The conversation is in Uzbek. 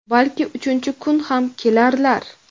Balkim uchinchi kun ham kelarlar).